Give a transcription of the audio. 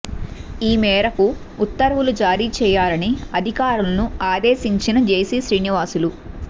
ఈ మేరకు ఉత్తర్వులు జారీ చేయాలని అధికారులను ఆదేశించిన జెసి శ్రీనివాసులు